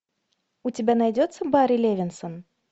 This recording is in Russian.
у тебя найдется барри левинсон